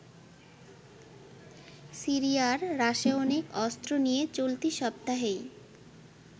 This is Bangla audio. সিরিয়ার রাসায়নিক অস্ত্র নিয়ে চলতি সপ্তাহেই